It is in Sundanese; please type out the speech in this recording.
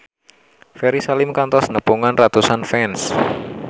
Ferry Salim kantos nepungan ratusan fans